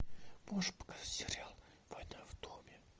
можешь показать сериал война в доме